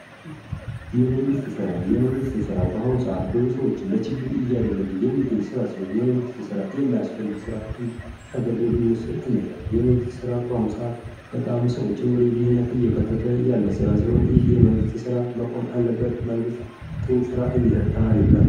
የመንግስት ስራ: በመንግስት መስሪያ ቤቶች፣ በክልልና በፌደራል ደረጃ የሚሰጡ ስራዎች ናቸው። እነዚህ ስራዎች የህዝብን ጥቅም ለማስጠበቅና የመንግስትን አገልግሎቶች ለማቅረብ ወሳኝ ሚና ይጫወታሉ።